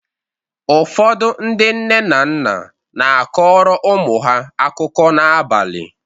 Ụfọdụ ndị nne na nna na-akọrọ ụmụ ha akụkọ n’abalị.